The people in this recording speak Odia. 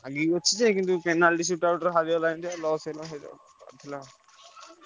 ଲାଗିକି ଅଛି ଯେ କିନ୍ତୁ ହରିଗଲା India loss ହେଲା ସେଇଟା ବାଧିଲା ଆଉ।